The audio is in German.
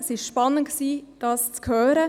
Es war spannend, diese zu hören.